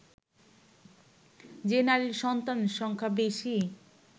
যে নারীর সন্তান সংখ্যা বেশি